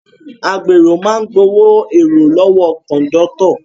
Agbèrò máa ń gbowó èrò lọ́wọ́ kọ̀ndọ́tọ̀